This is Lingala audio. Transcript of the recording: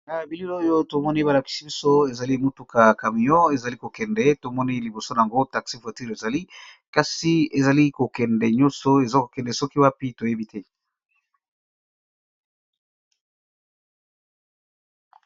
Na bilili oyo to moni ba lakisi biso ezali mutuka camion ezali ko kende. To moni liboso na ngo taxi voiture ezali. Kasi ezali ko kende nyonso eza ko kende soki wapi toyebi te.